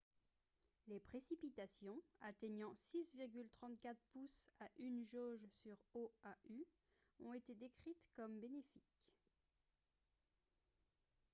les précipitations atteignant 6,34 pouces à une jauge sur oahu ont été décrites comme « bénéfiques »